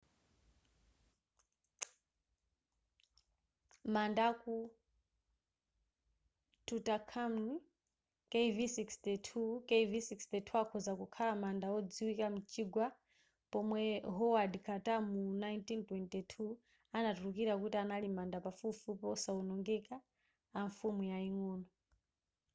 manda a tutankhamun kv62.kv62 akhoza kukhala manda odziwika m'chigwa pomwe howard carter mu 1922 anatulukira kuti anali manda pafupifupi osawonongeka a mfumu yaying'ono